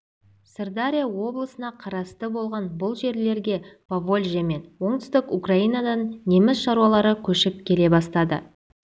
сырдария облысына қарасты болған бұл жерлерге поволжье мен оңтүстік украинадан неміс шаруалары көшіп келе бастады